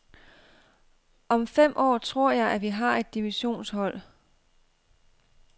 Om fem år tror jeg, at vi har et divisionshold.